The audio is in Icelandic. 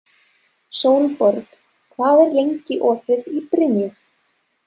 Sólborg, hvað er lengi opið í Brynju?